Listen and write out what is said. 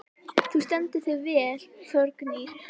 Þú stendur þig vel, Þórgnýr!